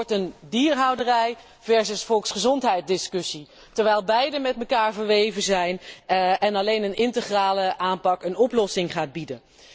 Het wordt een dierhouderij versus volksgezondheid discussie, terwijl beide met elkaar verweven zijn en alleen een integrale aanpak een oplossing biedt.